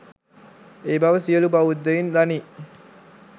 ඒ බව සියළු බෞද්ධයින් දනී.